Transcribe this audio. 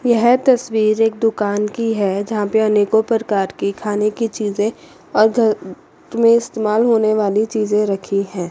यह तस्वीर एक दुकान की है जहां पे अनेकों प्रकार की खाने की चीजें अ घ में इस्तेमाल होने वाली चीजें रखी है।